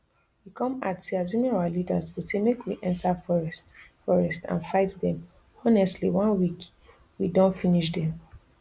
e come add say assuming our leaders go say make we enta forest forest and fight dem honestly one week we don finish dem